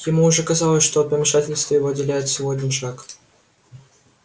ему уже казалось что от помешательства его отделяет всего один шаг